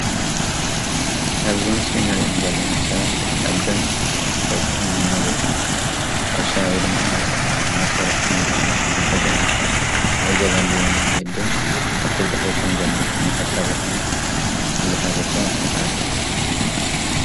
ኣብዚ ምስሊ እንርእዮም ዘለና ሰባት ኣዶን ደቅን ናብ ሕርሻ ወይድማ ማሳ እናሰርሑ ከምዝኮኑ ክንዕዘብ ንክእል። እንዕዘበሉ መንገዲ እወን ኣብቲ ኣብድሕሪቶም ዘሎ ናይ ሕርሻ ቦታ እና ብዝሓዘቶ መኹዓቲ።